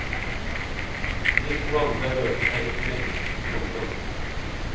De to andre rørte seg ikke. punktum